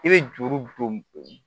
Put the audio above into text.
I bɛ juru don